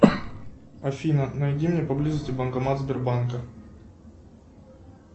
афина найди мне поблизости банкомат сбербанка